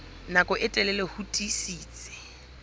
nako e telele ho tiisitse